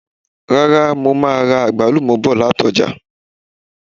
Ràrà mo máà ra àgbálùmọ̀ bọ̀ lati ọ́jà